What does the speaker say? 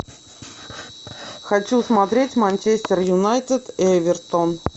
хочу смотреть манчестер юнайтед эвертон